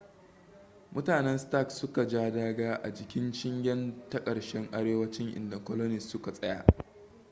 mutanen stark suka ja daga a jikin shingen ta karshen arewacin inda colonist suka tsaya